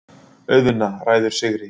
Auðna ræður sigri.